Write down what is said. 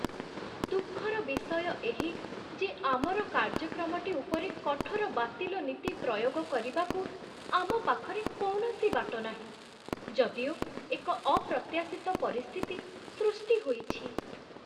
ଦୁଃଖର ବିଷୟ ଏହି ଯେ ଆମର କାର୍ଯ୍ୟକ୍ରମଟି ଉପରେ କଠୋର ବାତିଲ ନୀତି ପ୍ରୟୋଗ କରିବାକୁ ଆମ ପାଖରେ କୌଣସି ବାଟ ନାହିଁ, ଯଦିଓ ଏକ ଅପ୍ରତ୍ୟାଶିତ ପରିସ୍ଥିତି ସୃଷ୍ଟି ହୋଇଛି।